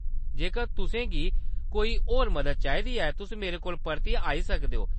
जेकर तुसें गी कोई होर मदद चाहिदी ऐ, तुस मेरे कोल परतियै आई सकदे ओ।